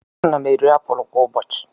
Ana m eri apụl kwa ụbọchị.